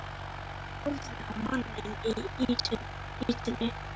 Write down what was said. Hann horfir á manninn í ýtunni.